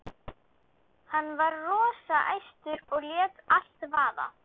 Hann var rosa æstur og lét allt vaða.